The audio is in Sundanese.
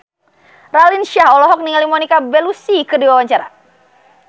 Raline Shah olohok ningali Monica Belluci keur diwawancara